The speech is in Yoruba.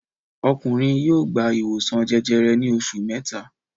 Ọkùnrin yóò gba ìwòsàn jẹjẹrẹ ní oṣù mẹ́ta.